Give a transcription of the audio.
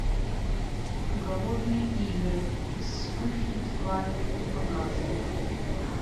голодные игры и вспыхнет пламя показывай